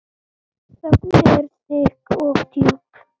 Þögnin er þykk og djúp.